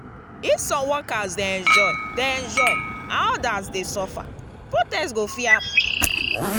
if some workers dey enjoy dey enjoy and others dey suffer protest go fit happen.